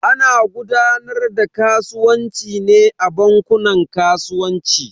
Ana gudanar da kasuwanci ne a bankunan kasuwanci.